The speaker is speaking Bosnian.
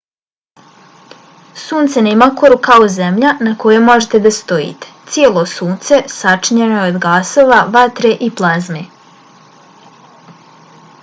sunce nema koru kao zemlja na kojoj možete da stojite. cijelo sunce sačinjeno je od gasova vatre i plazme